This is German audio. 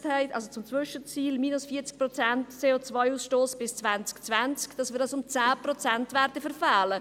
Wir hatten uns zum Zwischenziel gesetzt, den CO-Ausstoss bis 2020 um 40 Prozent zu verringern.